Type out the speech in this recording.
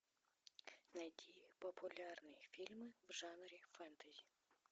найти популярные фильмы в жанре фэнтези